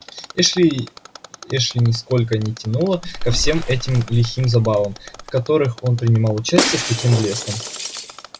эшли эшли нисколько не тянуло ко всем этим лихим забавам в которых он принимал участие с таким блеском